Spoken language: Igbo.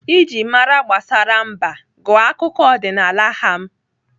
Iji mara gbasara mba, gụọ akụkọ ọdịnaala ham